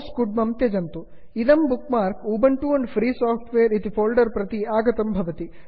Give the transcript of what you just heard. इदं bookmark Ubuntu and free software Ubuntu and free software इति folder प्रति आगतं भवति